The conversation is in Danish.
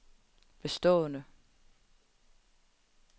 bestående